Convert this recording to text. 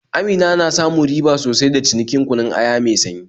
Amina na samun riba sosai da cinikin kunun aya mai sanyi